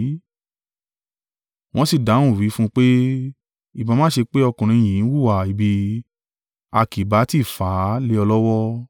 Wọ́n sì dáhùn wí fún un pé, “Ìbá má ṣe pé ọkùnrin yìí ń hùwà ibi, a kì bá tí fà á lé ọ lọ́wọ́.”